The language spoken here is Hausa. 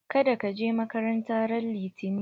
Kada ka je makaranta ran litani!